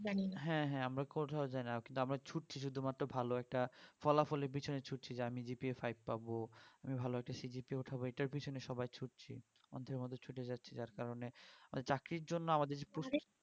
হ্যাঁ হ্যাঁ আমরা কোথাও যাই না কিন্তু আমরা শুধু ছুটছি শুধুমাত্র ভালো একটা ফলাফলের পিছনে ছুটছি যে আমি GPAfive পাবো আমি ভালো একটা CGPA উঠাবো এটার পিছনে সবাই ছুটছি অন্ধের মতো ছুটে যাচ্ছি যার কারণে চাকরির জন্য আমাদের যে প্রস্তুতি